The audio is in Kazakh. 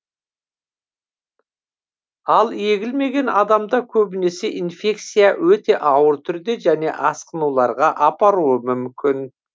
ал егілмеген адамда көбінесе инфекция өте ауыр түрде және асқынуларға апарауы мүмкін